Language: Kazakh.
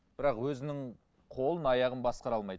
бірақ өзінің қолын аяғын басқара алмайды